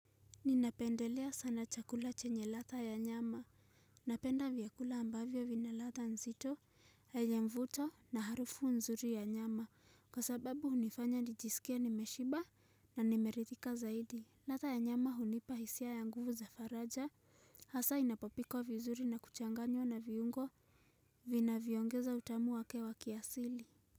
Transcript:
Ninapendelea sana chakula chenye ladha ya nyama, napenda vyakula ambavyo vinaladha nzito, yenye mvuto na harufu nzuri ya nyama, kwa sababu unifanya nijisikie nimeshiba na nimeridhika zaidi. Ladha ya nyama hunipa hisia ya nguvu za faraja, hasa inapopikwa vizuri na kuchanganywa na viungo vinavyoongeza utamu wake wa kiasili.